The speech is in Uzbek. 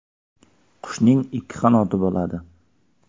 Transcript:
Qushning ikki qanoti bo‘ladi.